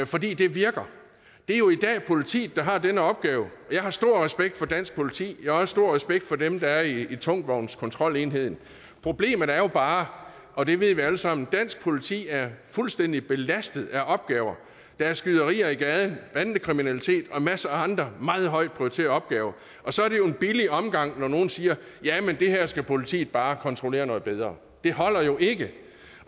fordi det virker det er jo i dag politiet der har den opgave jeg har stor respekt for dansk politi jeg har også stor respekt for dem der er i tungtvognskontrolenheden problemet er jo bare og det ved vi alle sammen at dansk politi er fuldstændig belastet af opgaver der er skyderier i gaden bandekriminalitet og en masse andre meget højt prioriterede opgaver og så er det jo en billig omgang når nogle siger jamen det her skal politiet bare kontrollere noget bedre det holder jo ikke